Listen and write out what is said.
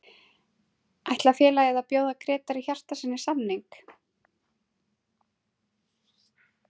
Ætlar félagið að bjóða Grétari Hjartarsyni samning?